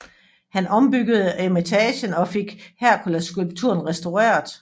Han ombyggede eremitagen og fik Herkulesskulpturen restaureret